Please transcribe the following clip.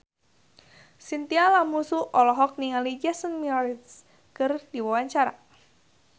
Chintya Lamusu olohok ningali Jason Mraz keur diwawancara